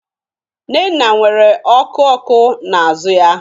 Nnenna nwere ọkụ ọkụ n'azụ ya.